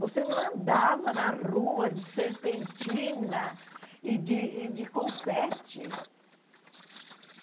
Você não andava na rua de serpentina e de e de confete.